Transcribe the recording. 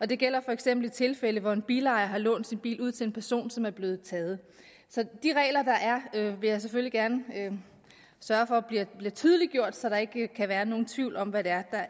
det gælder for eksempel i tilfælde hvor en bilejer har lånt sin bil ud til en person som er blevet taget så de regler der er vil jeg selvfølgelig gerne sørge for bliver tydeliggjort så der ikke kan være nogen tvivl om hvad der